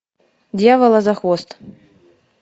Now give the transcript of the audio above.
дьявола за хвост